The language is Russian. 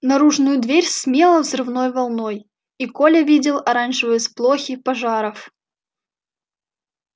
наружную дверь смело взрывной волной и коля видел оранжевые сполохи пожаров